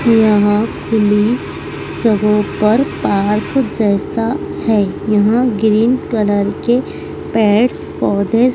यहाँ खुली जगहो पर पार्क जैसा हैं यहाँ ग्रीन कलर के पेड़ पौधे--